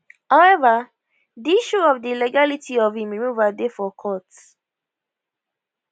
however di issue of di legality of im removal dey for court